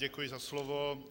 Děkuji za slovo.